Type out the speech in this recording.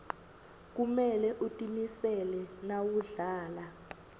kumele utimisele nawudlala